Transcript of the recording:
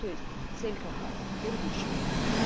то есть цель компании первично